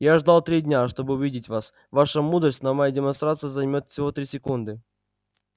я ждал три дня чтобы увидеть вас ваша мудрость но моя демонстрация займёт всего три секунды